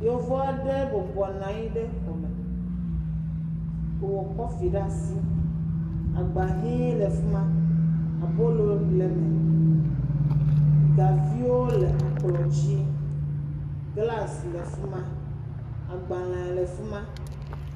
Atukpawo le kplɔ dzi eye aha le eme. Gakpoviga aɖewo hã le kplɔa dzi. Ŋutsua aɖe le kɔpu aɖe ɖe asi si…..